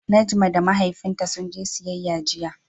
Najma da Mahaifinta sun je siyayya jiya.